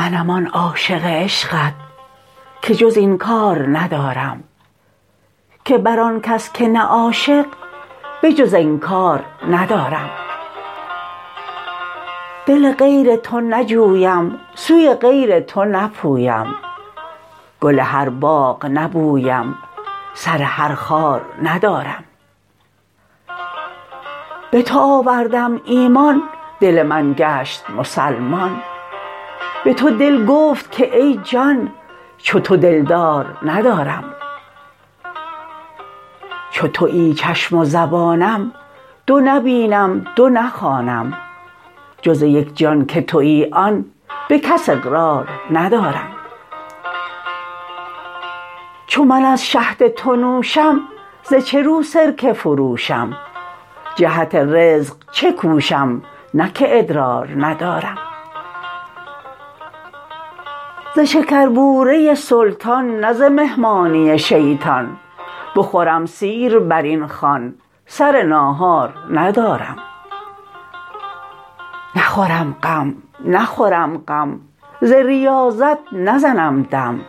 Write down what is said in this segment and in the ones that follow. منم آن عاشق عشقت که جز این کار ندارم که بر آن کس که نه عاشق به جز انکار ندارم دل غیر تو نجویم سوی غیر تو نپویم گل هر باغ نبویم سر هر خار ندارم به تو آوردم ایمان دل من گشت مسلمان به تو دل گفت که ای جان چو تو دلدار ندارم چو توی چشم و زبانم دو نبینم دو نخوانم جز یک جان که توی آن به کس اقرار ندارم چو من از شهد تو نوشم ز چه رو سرکه فروشم جهت رزق چه کوشم نه که ادرار ندارم ز شکربوره سلطان نه ز مهمانی شیطان بخورم سیر بر این خوان سر ناهار ندارم نخورم غم نخورم غم ز ریاضت نزنم دم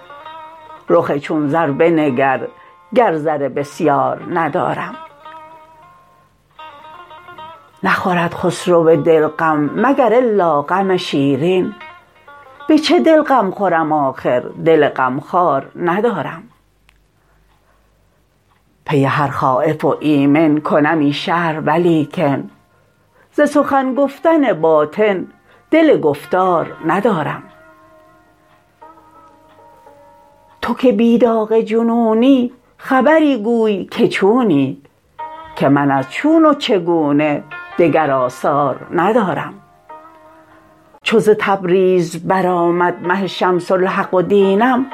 رخ چون زر بنگر گر زر بسیار ندارم نخورد خسرو دل غم مگر الا غم شیرین به چه دل غم خورم آخر دل غمخوار ندارم پی هر خایف و ایمن کنمی شرح ولیکن ز سخن گفتن باطن دل گفتار ندارم تو که بی داغ جنونی خبری گوی که چونی که من از چون و چگونه دگر آثار ندارم چو ز تبریز برآمد مه شمس الحق و دینم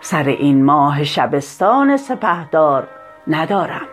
سر این ماه شبستان سپهدار ندارم